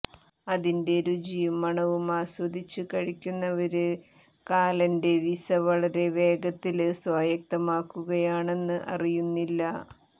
അതിന്റെ രുചിയും മണവും ആസ്വദിച്ചു കഴിക്കുന്നവര് കാലന്റെവിസ വളരെ വേഗത്തില് സ്വായത്തമാക്കുകയാണെന്ന് അറിയുന്നില്ല